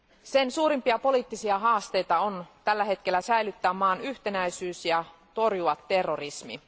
Sen suurimpia poliittisia haasteita on tällä hetkellä säilyttää maan yhtenäisyys ja torjua terrorismi.